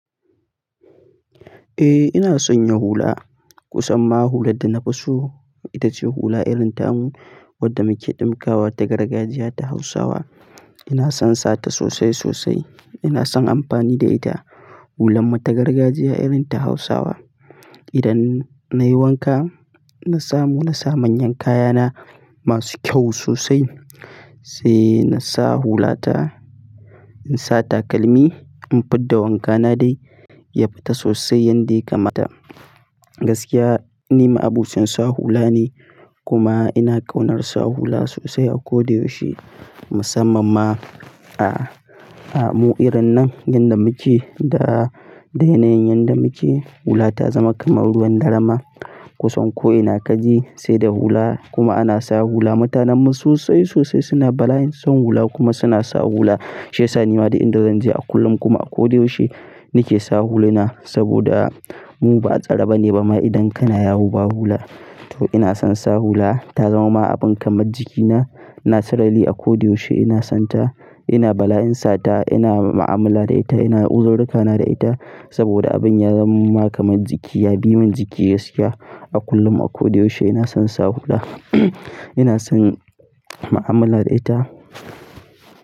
Eh ina san ya hula. Kusan ma hulan da na fi so ita ce hula irin tamu wadda muke ɗinkawa ta gargajiya ta Hausawa. Ina son sata sosai sosai. Ina son amfani da ita. Hulan mu ta gargajiya irin ta Hausawa. Idan nayi wanka, na samu na sa manyan kayana masu kyau sosai sai na sa hula ta. In sa takalmi, in fidda wankana dai ya fita sosai yanda ya kamata. Gaskiya nima abocin sa hula ne kuma ina ƙaunar sa hula sosai a ko da yaushe. Musamman ma a, a mu'irin nan yadda muke da, da yanayin yadda muke hula ta zama kamar ruwan dare ma. Kusan ko ina kaje sai da hula kuma ana sa hula. Mutanenmu sosai sosai suna bala'in son hula kuma suna sa hula. Shiyasa nima duk inda zan je a kullum kuma a ko da yaushe nake sa huluna saboda mu ba a tsare ba ne ba ma idan kana yawo ba hula. To ina son sa hula ta zama ma abin kamar jikina. Ina sarari a ko da yaushe ina son ta. Ina bala'in sata, ina mu'amala da ita, ina uzururrika na da ita saboda abin ya zaman mun ma kamar jiki ya bi min jiki gaskiya. A kullum a ko da yaushe ina son sa hula. Ina son mu'amala da ita.